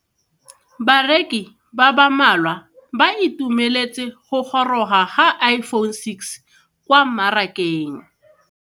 Bareki ba ba malwa ba ituemeletse go goroga ga Iphone6 kwa mmarakeng.